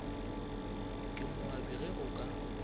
ke moabi ge go ka